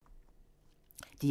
DR1